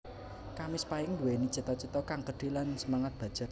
Kamis Pahing Nduwéni cita cita kang gedhe lan semangat baja